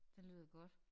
Det lyder godt